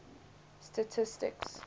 statistics